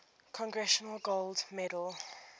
congressional gold medal